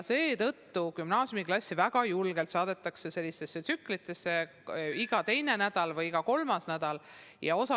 Seetõttu gümnaasiumiklassidele väga julgelt korraldatakse õpet tsüklites: iga teine nädal või iga kolmas nädal õpitakse kodus.